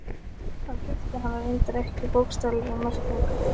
Hann gifti hana reyndar ekki í bókstaflegri merkingu.